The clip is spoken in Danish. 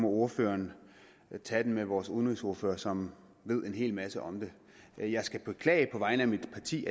ordføreren tage den med vores udenrigsordfører som ved en hel masse om det jeg skal på vegne af mit parti